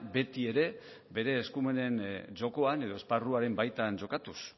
betiere bere eskumenen jokoan edo esparruaren baitan jokatuz